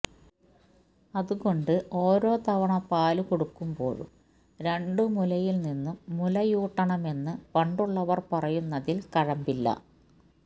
അത് കൊണ്ട് ഓരോ തവണ പാല് കൊടുക്കുമ്പോഴും രണ്ട് മുലയിൽ നിന്നും മുലയൂട്ടണമെന്ന് പണ്ടൂള്ളവർ പറയുന്നതിൽ കഴമ്പില്ല